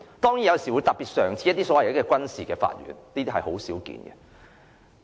當然，有時候會成立特別的軍事法庭，但卻不常見。